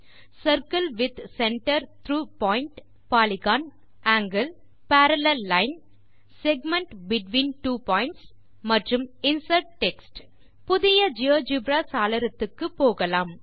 circle with centre through point polygon angle parallel line segment between two points மற்றும் insert text புதிய GeoGebra சாளரத்துக்கு போகலாம்